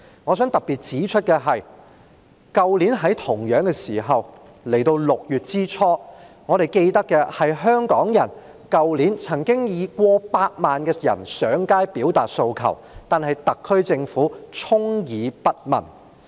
我想特別指出，去年同樣是這個時候，即是在6月初，我們記得曾經有過百萬香港人上街表達訴求，但特區政府充耳不聞。